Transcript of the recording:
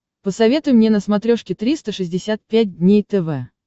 посоветуй мне на смотрешке триста шестьдесят пять дней тв